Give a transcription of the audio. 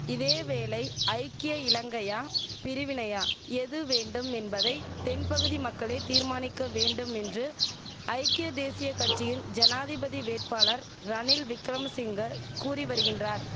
இதேவேளை ஐக்கிய இலங்கையா பிரிவினையா எது வேண்டும் என்பதை தென்பகுதி மக்களே தீர்மானிக்க வேண்டும் என்று ஐக்கிய தேசிய கட்சியின் ஜனாதிபதி வேட்பாளர் ரணில் விக்கிரமசிங்க கூறி வரிகின்றார்